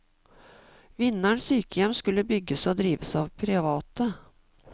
Vinderen sykehjem skulle bygges og drives av private.